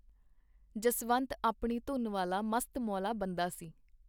ਜਸਵੰਤ ਆਪਣੀ ਧੁਨ ਵਾਲਾ ਮਸਤ-ਮੌਲਾ ਬੰਦਾ ਸੀ.